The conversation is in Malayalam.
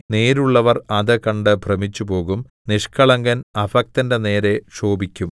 നേരുള്ളവർ അത് കണ്ട് ഭ്രമിച്ചുപോകും നിഷ്കളങ്കൻ അഭക്തന്റെ നേരെ ക്ഷോഭിക്കും